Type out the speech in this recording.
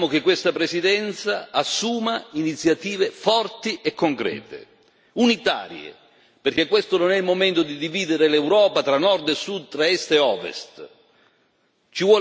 Quindi ci attendiamo che questa Presidenza assuma iniziative forti, concrete e unitarie, perché questo non è il momento di dividere l'Europa tra nord e sud, tra est e ovest.